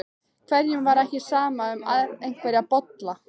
Hverjum var ekki sama um einhverja bolla?